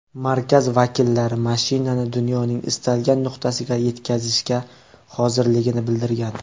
Markaz vakillari mashinani dunyoning istalgan nuqtasiga yetkazishga hozirligini bildirgan.